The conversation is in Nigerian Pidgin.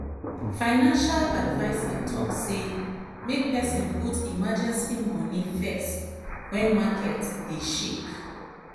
financial adviser talk say make person put emergency moni first when market dey shake.